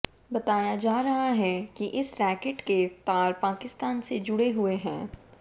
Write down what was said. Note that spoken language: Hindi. बताया जा रहा है कि इस रैकेट के तार पाकिस्तान से जुड़े हुए हैं